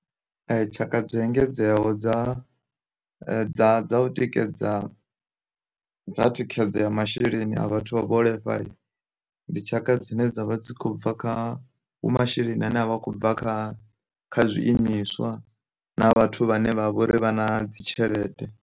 Tshaka dzo engedzeaho dza dza dza u tikedza dza thikhedzo ya masheleni a vhathu vha vhuholefhali, ndi tshaka dzine dzavha dzi kho bva kha vhu masheleni ane a vha khou bva kha kha zwiimiswa na vhathu vhane vha vha uri vha na dzi tshelede.